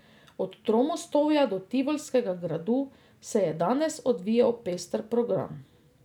Od Tromostovja do Tivolskega gradu se je danes odvijal pester program.